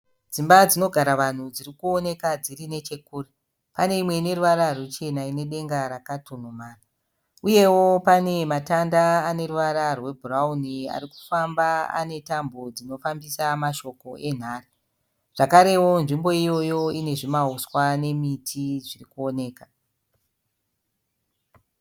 Dzimba dzinogara vanhu dzirikuoneka dzirinechekurekure. Pane imwe ineruvara rwuchena uye ine denga rakatundumara. Uyewo pane matanda aneruvara rwebhurawuni arikufamba anetambo dzinofambisa mashoko enhare. Zvakarewo nzvimbo iyoyo nezvimahuswa nemiti zvirikuoneka.